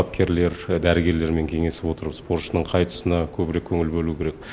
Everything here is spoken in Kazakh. бапкерлер дәрігерлермен кеңесе отырып спортшының қай тұсына көбірек көңіл бөлу керек